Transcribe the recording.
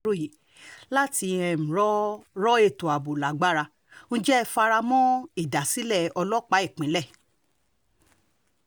ròye láti um rọ rọ ètò ààbò lágbára ǹjẹ́ ẹ fara mọ́ ìdásílẹ̀ ọlọ́pàá ìpínlẹ̀